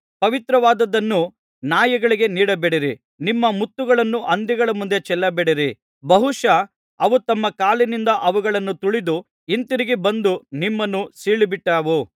ಪವಿತ್ರವಾದುದನ್ನು ನಾಯಿಗಳಿಗೆ ನೀಡಬೇಡಿರಿ ನಿಮ್ಮ ಮುತ್ತುಗಳನ್ನು ಹಂದಿಗಳ ಮುಂದೆ ಚೆಲ್ಲಬೇಡಿರಿ ಬಹುಶಃ ಅವು ತಮ್ಮ ಕಾಲಿನಿಂದ ಅವುಗಳನ್ನು ತುಳಿದು ಹಿಂತಿರುಗಿ ಬಂದು ನಿಮ್ಮನ್ನು ಸೀಳಿಬಿಟ್ಟಾವು